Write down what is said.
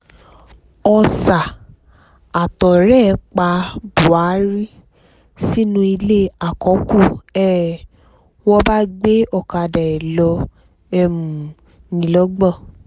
ọ̀sà àtọ̀rẹ́ ẹ̀ pa buhari sínú ilé àkọ́kù ni um wọ́n bá gbé ọ̀kadà ẹ̀ lọ um nìlọ́gbọ̀